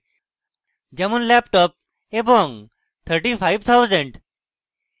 যেমন laptop এবং 35000